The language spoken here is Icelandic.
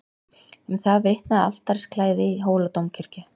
Um það vitnaði altarisklæðið í Hóladómkirkju.